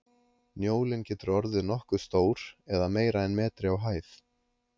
njólinn getur orðið nokkuð stór eða meira en metri á hæð